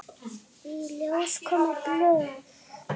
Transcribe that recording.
Í ljós komu blöð.